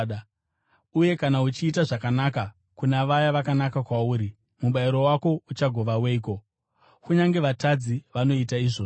Uye kana uchiita zvakanaka kuna vaya vakanaka kwauri, mubayiro wako uchagova weiko? Kunyange vatadzi vanoita izvozvo.